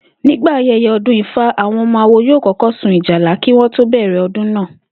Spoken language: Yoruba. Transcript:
Nígbà aye̩ye̩ o̩dún Ifá, àwo̩n o̩mo̩ awo yóò kó̩kó̩ sun ìjálá kí wo̩n tó bè̩rè̩ o̩dún náà